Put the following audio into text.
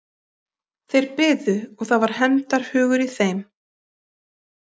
Þeir biðu og það var hefndarhugur í þeim.